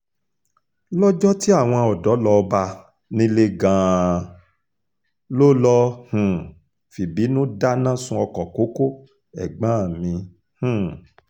lọ́jọ́ tí àwọn ọ̀dọ́ lọ́ọ́ bá a nílé gan-an ló lọ́ọ́ um fìbínú dáná sun ọkọ̀ kókó ẹ̀gbọ́n mi um